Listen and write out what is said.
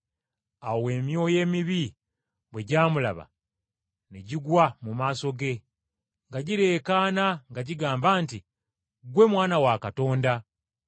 Awo emyoyo emibi bwe gyamulaba ne gigwa mu maaso ge nga gireekaana nga gigamba nti, “Ggwe Mwana wa Katonda.”